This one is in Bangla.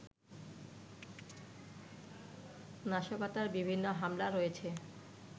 নাশকতার বিভিন্ন মামলা রয়েছে